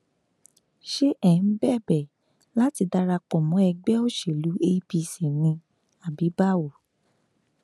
ṣé ẹ ń bẹbẹ láti darapọ mọ ẹgbẹ òṣèlú apc ni àbí báwo